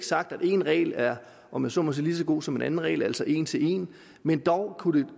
sagt at en regel er om jeg så må sige lige så god som en anden regel altså en til en men dog kunne det